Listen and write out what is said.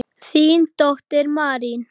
Þín dóttir, Marín.